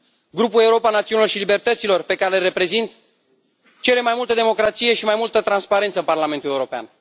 Grupul Europa Națiunilor și a Libertăților, pe care îl reprezint, cere mai multă democrație și mai multă transparență în Parlamentul European.